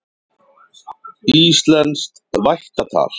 Íslenskt vættatal.